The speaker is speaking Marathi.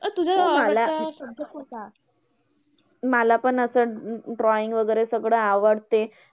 अं मला मला पण असं drawing वगैरे सगड आवडते.